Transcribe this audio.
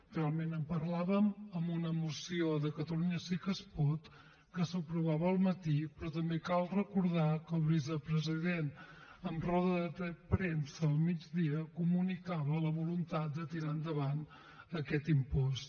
realment en parlàvem en una moció de catalunya sí que es pot que s’aprovava al matí però també cal recordar que el vicepresident en roda de premsa al migdia comunicava la voluntat de tirar endavant aquest impost